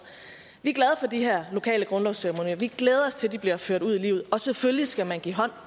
vi er glade for de her lokale grundlovsceremonier vi glæder os til at de bliver ført ud i livet og selvfølgelig skal man give hånd